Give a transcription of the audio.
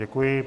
Děkuji.